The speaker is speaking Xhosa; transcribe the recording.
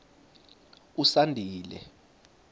usandile